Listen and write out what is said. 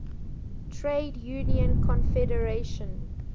trade union confederation